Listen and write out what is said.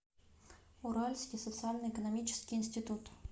уральский социально экономический институт